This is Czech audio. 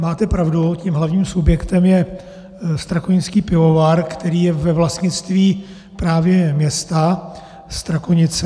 Máte pravdu, tím hlavním subjektem je strakonický pivovar, který je ve vlastnictví právě města Strakonice.